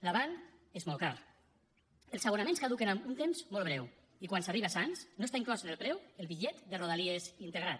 l’avant és molt car els abonaments caduquen en un temps molt breu i quan s’arriba a sants no està inclòs en el preu el bitllet de rodalies integrat